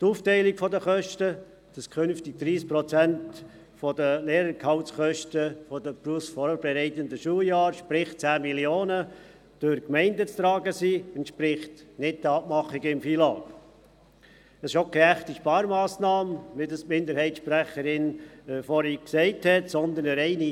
Die Aufteilung der Kosten, wonach künftig 30 Prozent aus den Lehrergehältern der BVS, also diese 10 Mio. Franken, durch die Gemeinden zu tragen sind, entspricht nicht den Abmachungen, die im Rahmen des FILAG getroffen worden sind.